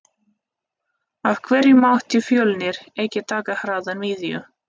Af hverju mátti Fjölnir ekki taka hraða miðju?